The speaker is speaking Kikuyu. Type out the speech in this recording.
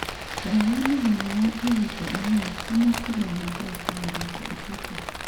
Toro wa mũthenya wa ihinda inini, ti makĩria ma ndagĩka mĩrongo ĩtatũ,